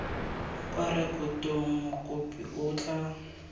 kwa rekotong mokopi o tla